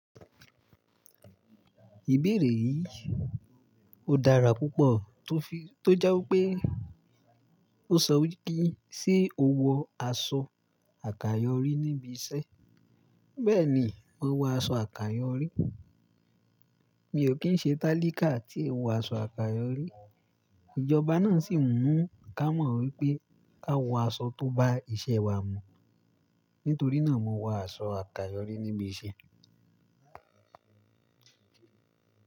Ìbéèrè yìí ò dára púpọ̀ tó fi, tó jẹ́ wípé ó sọ wípé ṣe o wọ aṣọ àkayòrí níbi iṣẹ́? Bẹ́ẹ̀ni, mo wọ aṣọ àkayòrí. Mi ò kí ń ṣe talíkà tí è wo aṣọ àkayòrí. Ijọba náà sì ń mú ká mọ̀ wípé ká wọ aṣọ tó bá iṣẹ́ wa mu. Nítorí náà, mo wọ aṣọ àkayòrí níbi iṣẹ́.